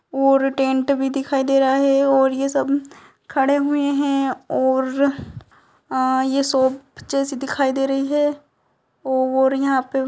और टेंट भी दिखाई दे रहा है और यह सब खड़े हुए हैं और अ यह शॉप जैसी दिखाई दे रही है और यहां पे --